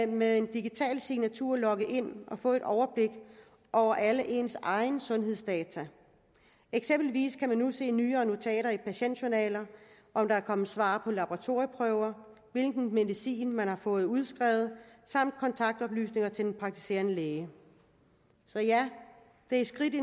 med en digital signatur logge ind og få et overblik over alle ens sundhedsdata eksempelvis kan man nu se nye notater i patientjournaler om der er kommet svar på laboratorieprøver hvilke medicin man har fået udskrevet samt kontaktoplysninger til den praktiserende læge så ja det er et skridt i